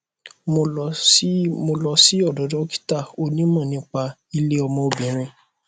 mo lọ sí mo lọ sí ọdọ dókítà onímọ nípa ilé ọmọ obìnrin